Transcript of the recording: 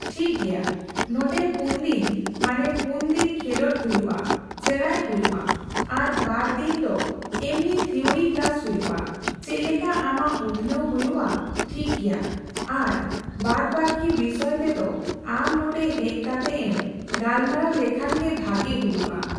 ᱴᱷᱤᱠᱜᱮᱭᱟ, ᱱᱚᱸᱰᱮ ᱯᱩᱱ ᱫᱤᱱ ᱢᱟᱱᱮ ᱯᱩᱱ ᱫᱤᱱ ᱠᱷᱮᱸᱞᱳᱰ ᱦᱩᱭᱩᱜᱼᱟ, ᱥᱮᱲᱟᱭ ᱦᱩᱭᱩᱜᱼᱟ ᱾ ᱟᱨ ᱵᱟᱨ ᱫᱤᱱ ᱫᱚ ᱮᱢᱱᱤ ᱛᱷᱤᱣᱨᱤ ᱠᱞᱟᱥ ᱦᱩᱭᱩᱜᱼᱟ ᱾ ᱪᱮᱫᱞᱮᱠᱟ ᱟᱢᱟᱜ ᱩᱛᱱᱟᱹᱣ ᱦᱩᱭᱩᱜᱼᱟ, ᱴᱷᱤᱠᱜᱮᱭᱟ ᱾ ᱟᱨ ᱵᱟᱫ ᱵᱟᱠᱤ ᱵᱤᱥᱚᱭ ᱛᱮᱫᱚ ᱟᱢ ᱱᱚᱸᱰᱮ ᱦᱮᱡ ᱠᱟᱛᱮ ᱮᱢ ᱜᱟᱞᱢᱟᱨᱟᱣ ᱞᱮᱠᱷᱟᱱ ᱜᱮ ᱵᱷᱟᱹᱜᱤ ᱦᱩᱭᱩᱜᱼᱟ ᱾